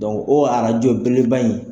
orajo belebel ba in.